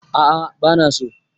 A'a bana so